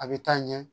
A bɛ taa ɲɛ